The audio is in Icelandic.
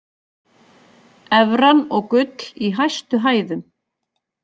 Evran og gull í hæstu hæðum